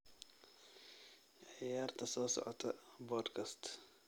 ciyaarta soo socota podcast